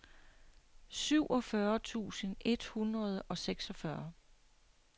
syvogfyrre tusind et hundrede og seksogfyrre